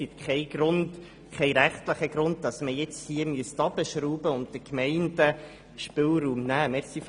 Es gibt keinen rechtlichen Grund, weshalb man jetzt «herunterschrauben» und den Gemeinden Spielraum nehmen müsste.